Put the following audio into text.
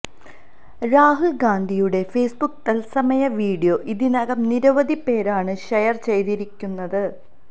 രാഹുല് ഗാന്ധിയുടെ ഫേസ്ബുക്ക് തത്സമയ വീഡിയോ ഇതിനകം നിരവധി പേരാണ് ഷെയര് ചെയ്തിരിക്കുന്നത്